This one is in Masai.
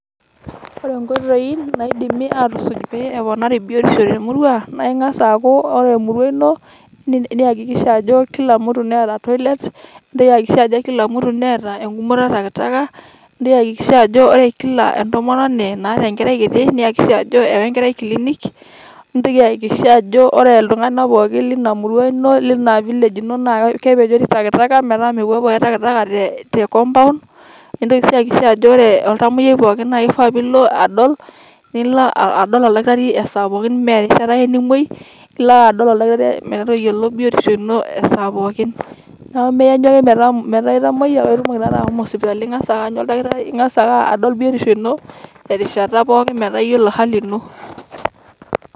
Ore enkoitoi naidimi aatusuj' pee eponari biotisho te murua naa eyakikisha ajo ore emurua ino naa ore Kila mtu Neeta Toilet niigil sii ayakikisha ajo Neeta egumoto etakitaka niakikisha ajo ore Kila entomononi naata Enkerai kiti niakikisha ajo eewa Enkerai kilinik nintoki ayakikisha ajo ore iltung'anak pookin Lina murua Ino Lina village ino naa kepejori takitaka metaa mepuupuo ake takitaka tecompound. Nintoki sii ayakikisha ajo ore iltamoyiai pookin na keifaa Nilo adol ilo adol oldakitari isaai pooi mee erishata ake nimuoi elo ake adol oldakitari metayiolo biotisho ino esaa pookin. Neeku Maa iyanyu ake metaa iltamoyia paa itumoki taata ashomo sipitali, eng'as ake aanyu oldakitari eng'as adol biotisho ino te rishata pookin metaa iyiolou ehali ino.